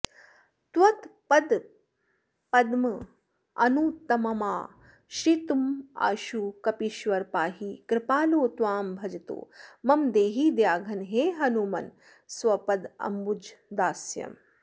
त्वत्पदपद्ममनुत्तममाश्रितमाशु कपीश्वर पाहि कृपालो त्वां भजतो मम देहि दयाघन हे हनुमन्स्वपदाम्बुजदास्यम्